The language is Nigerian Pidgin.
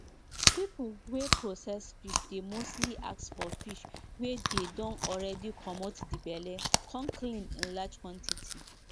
dem dey rub oil wey dem dey get from garlic on top wound so sickness no go enta and di wound wound go quick heal.